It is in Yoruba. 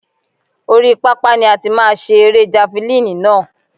Oríi pápá ni a ti máa ṣe erée javalínì náà.